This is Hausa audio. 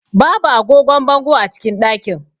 Babu agogon bango a cikin ɗakin.